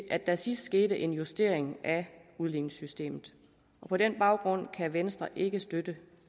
at der sidst skete en justering af udligningssystemet på den baggrund kan venstre ikke støtte